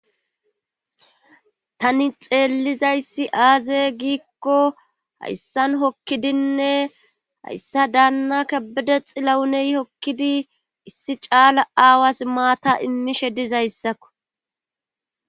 tani xeellizayssi aaze giikko hayssan hokkidinne hayssa daanna ka bede xi lawuney hokkidi issi caala aawas maata immishe dizayssakko